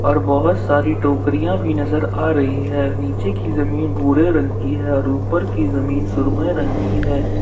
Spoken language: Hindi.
और बहोत सारी टोकरियां भी नजर आ रही है नीचे की जमीन भूरे रंग की है और ऊपर की जमीन सुरमय रंग की है।